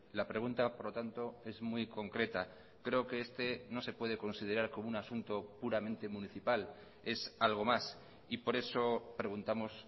la pregunta por lo tanto es muy concreta creo que este no se puede considerar como un asunto puramente municipal es algo más y por eso preguntamos